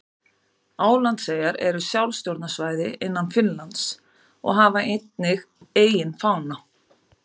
Álandseyjar eru sjálfstjórnarsvæði innan Finnlands og hafa einnig eigin fána.